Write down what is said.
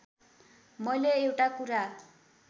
मैले एउटा कुरा